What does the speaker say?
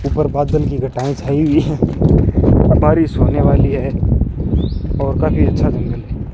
ऊपर बादल की घटाएं छाई हुई हैं बारिश होने वाली है और काफी अच्छा व्यू है।